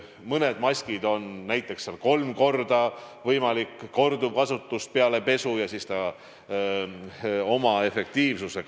Mõnda maski on võimalik kolm korda korduvkasutada peale pesu ja seejärel ta kaotab oma efektiivsuse.